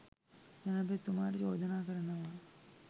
ජනාධිපතිතුමාට චෝදනා කරනවා